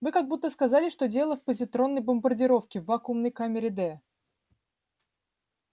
вы как будто сказали что дело в позитронной бомбардировке в вакуумной камере д